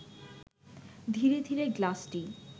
ধীরে ধীরে গ্লাসটি